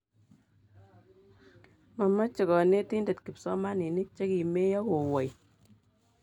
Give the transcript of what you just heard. Mameche konetindet kipsomaninik che kimeyo kowoi